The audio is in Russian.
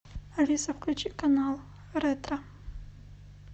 алиса включи канал ретро